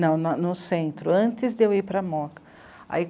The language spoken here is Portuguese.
Não, no centro, antes de eu ir para a mooca.